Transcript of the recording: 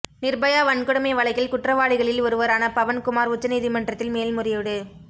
நிர்பயா வன்கொடுமை வழக்கில் குற்றவாளிகளில் ஒருவரான பவன் குமார் உச்ச நீதிமன்றத்தில் மேல்முறையீடு